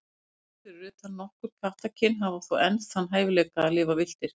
Kettir, fyrir utan nokkur kattakyn, hafa þó enn þann hæfileika að lifa villtir.